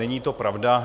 Není to pravda.